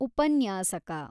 ಉಪನ್ಯಾಸಕ